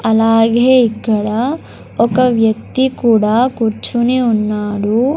అలాగే ఇక్కడ ఒక వ్యక్తి కూడా కూర్చొని ఉన్నాడు.